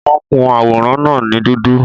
Wọ́n kun àwòrán náà ní dúdú